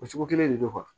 O cogo kelen de don